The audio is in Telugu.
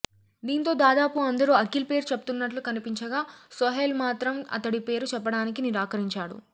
దీంతో దాదాపు అందరూ అఖిల్ పేరు చెప్తున్నట్లు కనిపించగా సోహైల్ మాత్రం అతడి పేరు చెప్పడానికి నిరాకరించాడు